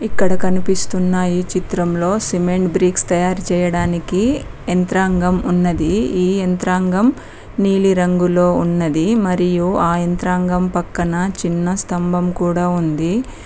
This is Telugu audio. ఇక్కడ కనిపిస్తున్న ఈ చిత్రంలో సిమెంట్ బ్రిక్స్ తయారు చేయడానికి యంత్రాంగం ఉన్నది ఈ యంత్రాంగం నీలి రంగులో ఉన్నది మరియు ఆ యంత్రాంగం పక్కన చిన్న స్థంభం కూడా ఉంది.